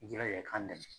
I jilaja k'an dɛmɛ